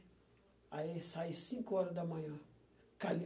Aí saí cinco horas da manhã.